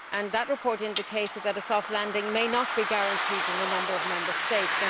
That report indicated that a soft landing may be not guaranteed in a number of Member States.